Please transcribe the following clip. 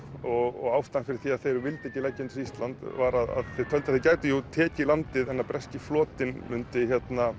og ástæðan fyrir að þeir vildu ekki leggja undir sig Ísland var að þeir töldu að þeir gætu jú tekið landið en að breski flotinn mundi